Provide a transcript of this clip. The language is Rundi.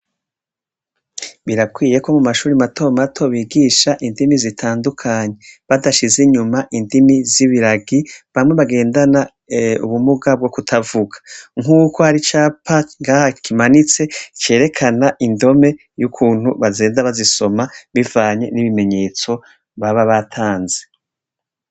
Birakwiye ko mumashure mato mato bigisha indimi zitandukanye, badashize inyuma indimi z’ibiragi bamwe bagendena ubumuga bwo kutavuga, nkubu ko hari icapa ngaha kimanitse cerekana indome y’ukuntu bagenda bazisoma bivanye n’ibimenyetso baba batanze.